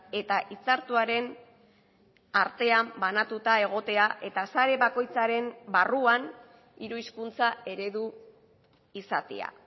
eta hitzartuaren artean banatuta egotea eta sare bakoitzaren barruan hiru hizkuntza eredu izatea a